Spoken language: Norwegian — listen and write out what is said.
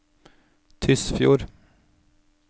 Tysfjord